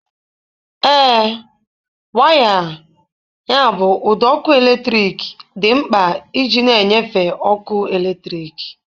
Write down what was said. Ee, waya (ụdọ ọkụ eletrik) dị mkpa iji na-enyefee ọkụ eletrik.